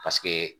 Paseke